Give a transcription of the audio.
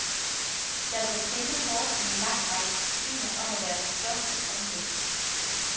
Der bliver kæmpet hårdt i en lang række discipliner om at være den største og den bedste.